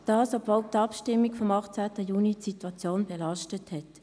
Dies, obwohl die Abstimmung vom 18. Juni die Situation belastete.